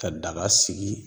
Ka daga sigi